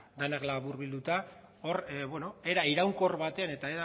denak laburbilduta hor era iraunkor batean eta